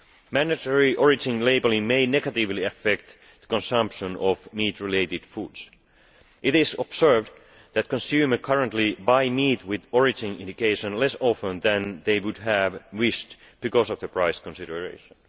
Mandatory origin labelling may negatively affect the consumption of needs related foods. It is observed that consumers currently buy meat with origin indication less often than they would have wished, because of the price consideration.